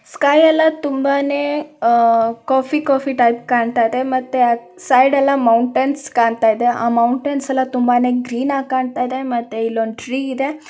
Sky ಎಲ್ಲ ತುಂಬಾನೇ ಆ ಕಾಫಿ ಕಾಫಿ ಟೈಪ್ ಕಾಣ್ತಾ ಇದೆ ಮತ್ತೆ ಸೈಡೆಲ್ಲ ಮೌಟೆನ್ಸ್ ಕಾಣ್ತಾ ಇದೆ ಆ ಮೌಟೆನ್ಸ್ ಎಲ್ಲಾ ತುಂಬಾನೇ ಗ್ರೀನ್ ಆಗಿ ಕಾಣ್ತಾ ಇದೆ ಮತ್ತೆ ಇಲ್ಲೊಂದು ಟ್ರೀ ಇದೆ.